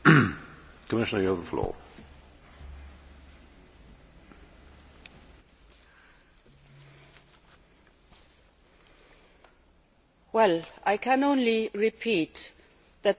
I can only repeat that the cost of an improper functioning of justice, or the cost of not treating human beings as human beings should be treated